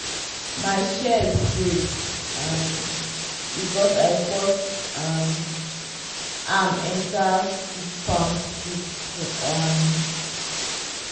my shears break um because i force um am enter thick palm stick. um